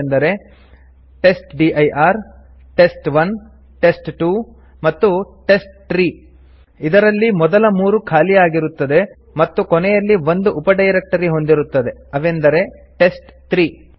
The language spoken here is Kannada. ಅವುಗಳೆಂದರೆ ಟೆಸ್ಟ್ಡಿರ್ ಟೆಸ್ಟ್1 ಟೆಸ್ಟ್2 ಮತ್ತು ಟೆಸ್ಟ್ಟ್ರೀ ಇದರಲ್ಲಿ ಮೊದಲ ಮೂರು ಖಾಲಿಯಾಗಿರುತ್ತದೆ ಮತ್ತು ಕೊನೆಯಲ್ಲಿ ಒಂದು ಉಪಡೈರೆಕ್ಟರಿ ಹೊಂದಿರುತ್ತದೆ ಅವೆಂದರೆ ಟೆಸ್ಟ್3